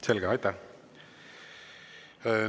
Selge, aitäh!